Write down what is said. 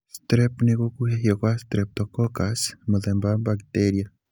Strep ni gũkuhĩhio kwa Streptococcus, mũthemba wa bacteria.